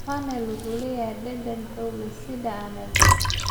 Fennel wuxuu leeyahay dhadhan xoog leh, sida anise.